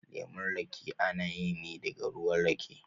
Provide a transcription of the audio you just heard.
Lemun rake ana yi ne daga ruwa rake